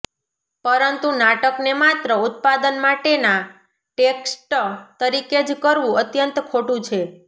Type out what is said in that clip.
પરંતુ નાટકને માત્ર ઉત્પાદન માટેના ટેક્સ્ટ તરીકે જ કરવું અત્યંત ખોટું છે